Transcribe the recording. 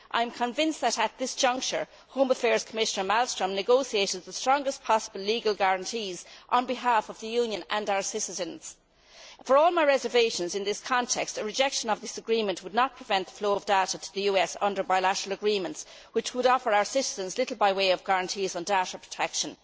I am convinced that, at this juncture, Home Affairs Commissioner Malmström has negotiated the strongest possible legal guarantees on behalf of the Union and our citizens. For all my reservations in this context, a rejection of this agreement would not prevent the flow of data to the US under bilateral agreements, which would offer our citizens little by way of guarantees of data protection.